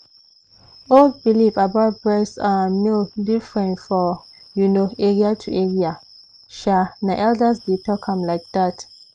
old belief about breast um milk different for u know area to area. sha na elders dey teach am like that.